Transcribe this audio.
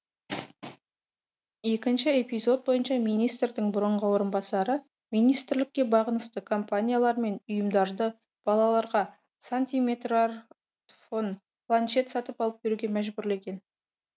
екініші эпизод бойынша министрдің бұрынғы орынбасары министрлікке бағынысты компаниялар мен ұйымдарды балаларға сантиметрартфон планшет сатып алып беруге мәжбүрлеген